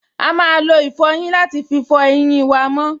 A máa lo ìfọyín láti fí fọ eyín wa mọ́